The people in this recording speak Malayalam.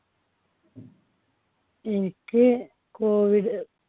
എനിക്ക് COVID